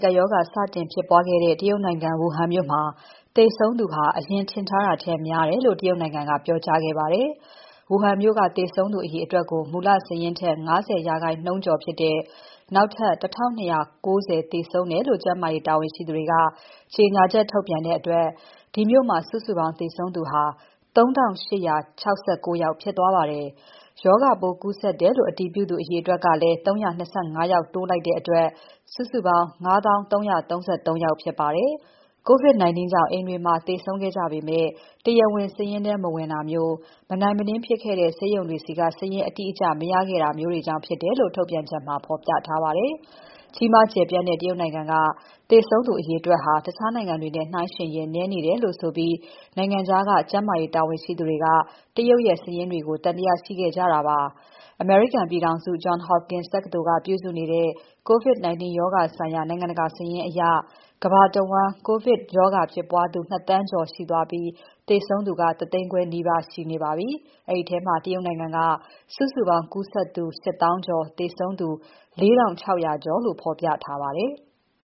ကပ်ရောဂါ စတင်ဖြစ်ပွားခဲ့တဲ့ တရုတ်နိုင်ငံ Wuhan မြို့မှာ သေဆုံးသူဟာ အရင်ထင်ထားတာထက် များတယ်လို့ တရုတ်နိုင်ငံက ပြောကြားလိုက်ပါတယ်။ Wuhan မြို့က သေဆုံးသူအရေအတွက်ကို မူလစာရင်းထက် ၅၀ ရာခိုင်နှုန်းကျော်ဖြစ်တဲ့ နောက်ထပ် ၁,၂၉၀ သေဆုံးတယ်လို့ ကျန်းမာရေးတာဝန်ရှိသူတွေက ကြေညာချက်ထုတ်ပြန်တဲ့အတွက် ဒီမြို့မှာ စုစုပေါင်းသေဆုံးသူ ၃,၈၆၉ ယောက်ဖြစ်သွားပါတယ်။ ရောဂါပိုးကူးစက်တယ်လို့ အတည်ပြုသူ အရေအတွက်ကိုလည်း ၃၂၅ ယောက်တိုးလိုက်တဲ့အတွက် စုစုပေါင်း ၅၀,၃၃၃ ဖြစ်သွားပါတယ်။ COVID-19 ကြောင့် အိမ်တွေမှာ သေဆုံးခဲ့ကြပေမဲ့ တရားဝင်စာရင်းထဲ မဝင်တာမျိုး တချို့ဆေးရုံတွေမှာ မနိုင်မနင်း ဖြစ်ခဲ့တာကြောင့် အရင်စုစည်းတဲ့ စာရင်းတွေထဲ မပါခဲ့တာမျိုးတွေကြောင့် ဖြစ်တယ်လို့ ထုတ်ပြန်ချက်မှာ ဖော်ပြထားပါတယ်။ ကြီးမားကျယ်ပြန့်တဲ့ တရုတ်နိုင်ငံက သေဆုံးသူ အရေအတွက်တွေဟာ တခြားနိုင်ငံတွေနဲ့ နှိုင်းယှဉ်ရင် နည်းနေတယ်လို့ဆိုပြီး နိုင်ငံခြားက ကျန်းမာရေးတာဝန်ရှိသူတွေက တရုတ်ရဲ့ စာရင်းတွေကို သံသယရှိခဲ့ကြတာပါ။ အမေရိကန်ပြည်ထောင်စု Johns Hopkins တက္ကသိုလ်က ပြုစုနေတဲ့ COVID-19 ရောဂါဆိုင်ရာ နိုင်ငံတကာစာရင်းအရ ကမ္ဘာတဝန်း COVID ရောဂါဖြစ်ပွားနေသူ ၂,၀၀၀,၀၀၀ ကျော်သွားပြီး သေဆုံးသူ ၁၅၀,၀၀၀ နီးပါးရှိပါတယ်။ အဲဒီထဲမှာ တရုတ်နိုင်ငံက စုစုပေါင်းကူးစက်သူ ၈၀,၀၀၀ ကျော် သေဆုံးသူ ၄,၆၀၀ ကျော်လို့ ဖော်ပြထားပါတယ်။